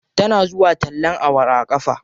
Tana zuwa tallen awara a ƙafa.